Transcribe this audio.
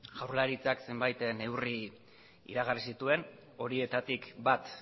jaurlaritzak zenbait neurri iragarri zituen horietatik bat